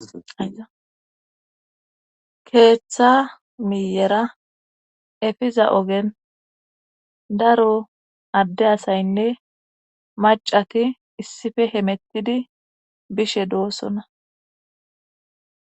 keeththa miyera efiza ogen daro adde asaynne macati issife hemettidi bishe doossona